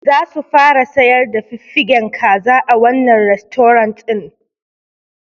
Zasu fara sayar da fiffigen kaza a wannan rastorant ɗin.